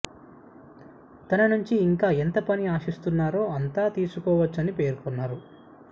తన నుంచి ఇంకా ఎంత పని ఆశిస్తున్నారో అంత తీసుకోవచ్చని పేర్కొన్నారు